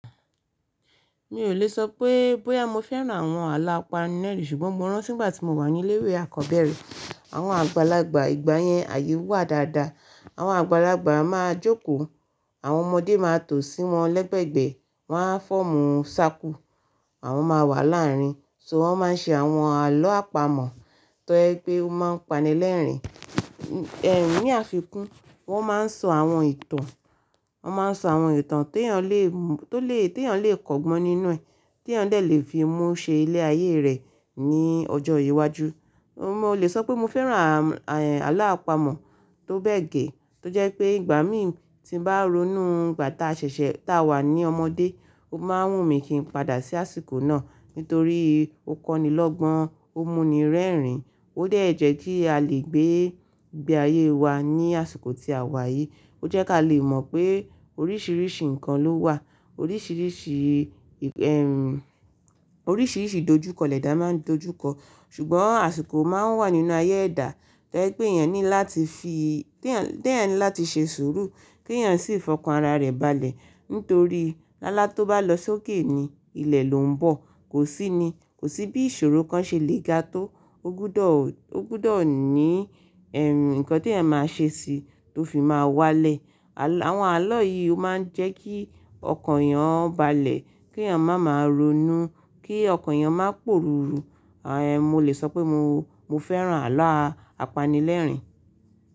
Mi ò lè sọ pé, bóyá mo fẹ́ran àwọn àlọ́ apanilerìn, ṣùgbọ́n mo rántí ìgbà tí mo wà ní ilé ìwé àkọ́bẹ̀rẹ̀, àwọn àgbàlagbà ìgbà yẹn àyè wà dáadáa. Àwọn àgbàlagbà máa jókòó, àwọn ọmọdé máa tò sí wọn lẹ́gbẹ̀gbẹ́, wọ́n á foomú ṣákú, àwọn máa wà láàrín, ṣo wọ́n máa ń ṣe àwọn àlọ́ àpamọ̀ tó je wípé ó máa ń pani lẹ́rìn. Ee ní àfikún, wọn máa ń sọ àwọn ìtàn, wọn máa ń sọ àwọn ìtàn t'eeyàn lè mú-- tó lè, t'eeyàn lè kọ́gbọ́n nínú ẹ, t'eeyàn dè le fi mú ṣe ilé ayé rẹ̀ ní ọjọ́ iwájú. Mo lè sọ pé mo fẹ́ran àm-- àlọ́ àpamọ̀ tó bẹ́ẹ̀ gẹ́, tó jẹ́ pé ìgbà mí tí ń bá ronú ìgbà tá ṣẹ̀ṣẹ̀ tá wà ní ọmọdé, ó máa wùn mí kí n padà sí àsìkò náà, nítorí ó kọ́ni lọ́gbọ́n, ó múni rẹ́rìn, ó dẹ́ẹ̀jẹ́ kí a lè gbé ìgbé ayé wa ní àsìkò tí a wà yìí. Ó jẹ́ kí a lè mọ̀ pé oríṣìíríṣìí nǹkan ló wà, oríṣìíríṣìí, em, oríṣìíríṣìí ìdojúkọ lẹ́dà máa ń dojúkọ. Ṣùgbọ́n àsìkò máa ń wà nínú ayé ẹ̀dá, tó je pẹ́ eeyàn ní láti fi, ti eeyan, ti eeyan ní láti ṣe sùúrù kí yàn sì fọkàn ara rẹ̀ balẹ̀. Nítorí lálá tó bá lọ sókè ni ilẹ̀ ló ń bọ̀. Kò sí ni, kò sí bí ìṣòro kan ṣe lè ga tó. O gbódọ̀, o gbódọ̀ ní ee nǹkan tí ẹ̀ máa ṣe sì tó fi máa wá lẹ̀. Àwọn àlọ́ yìí ó máa ń jẹ́ kí ọkàn eeyan balẹ̀, kí yàn má máa ronú, kí ọkàn eeyàn má pọ̀rúru. Àn, mo lè sọ pé mo, mo fẹ́ran àlọ́ apanilẹ́rìn.